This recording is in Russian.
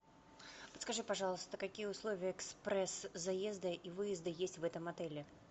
подскажи пожалуйста какие условия экспресс заезда и выезда есть в этом отеле